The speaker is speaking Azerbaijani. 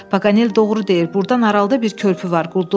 Paganel doğru deyir, burdan aralda bir körpü var.